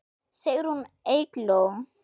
Sigrún Eygló.